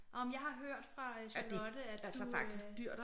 Åh jamen jeg har hørt fra Charlotte at du øh